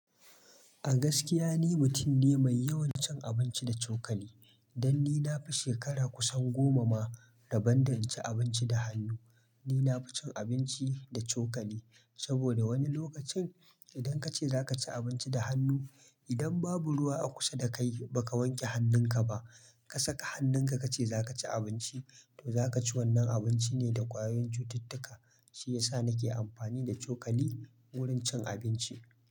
A gaskiya ni mutum ne mai yawan cin abinci da cokali. Dan ni na fi shekara kusan goma ma, rabon da na ci abinci da hannu. Ni na fi cin abinci da cokali, saboda wani lokacin idan kace zaka ci abinci da hannu, idan babu ruwa a kusa da kai baka wanke hannun ka ba. Ka saka hannun ka ka ce zaka ci abinci, za ka ci wannan abinci ne da ƙwayoyin cututtuka. Shi ya sa nake amfani da cokali wurin cin abinci.